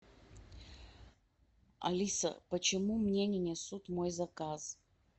алиса почему мне не несут мой заказ